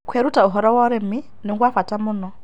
Kwĩrũta ũhoro wa ũrĩmĩ nĩgwa bata mũno